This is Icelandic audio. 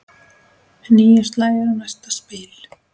Níu slagir og næsta spil.